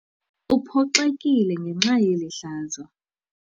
Uphoxekile ngenxa yeli hlazo.